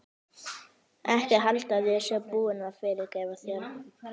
Ekki halda að ég sé búin að fyrirgefa þér.